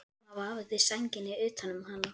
Amma vafði sænginni utan um hana.